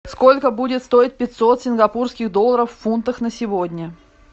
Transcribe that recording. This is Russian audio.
сколько будет стоить пятьсот сингапурских долларов в фунтах на сегодня